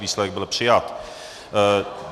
Výsledek: byl přijat.